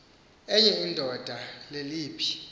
enye indoda leliphi